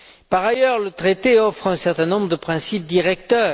Par ailleurs, le traité offre un certain nombre de principes directeurs.